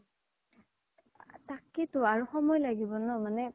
তাকেই তো আৰু সময় লাগিব ন মানে